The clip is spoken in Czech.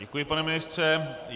Děkuji, pane ministře.